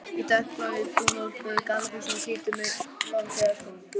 Í dökkblárri dúnúlpu, gallabuxum og hvítum, uppháum strigaskóm.